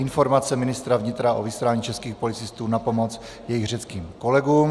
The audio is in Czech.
Informace ministra vnitra o vyslání českých policistů na pomoc jejich řeckým kolegům